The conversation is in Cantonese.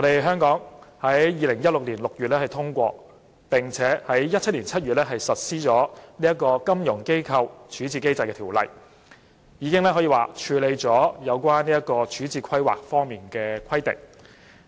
香港在2016年6月通過，並於2017年7月實施《金融機構條例》，已履行有關處置規劃方面的規定。